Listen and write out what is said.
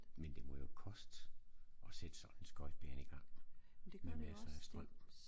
Men det må jo koste at sætte sådan en skøjtebane igang med massere af strøm